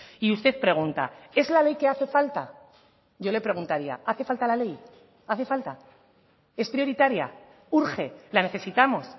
y usted pregunta es la ley que hace falta yo le preguntaría hace falta la ley hace falta es prioritaria urge la necesitamos